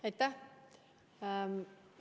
Aitäh!